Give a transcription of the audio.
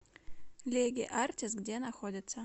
леге артис где находится